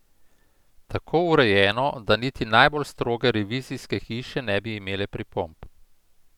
Tako urejeno, da niti najbolj stroge revizijske hiše ne bi imele pripomb.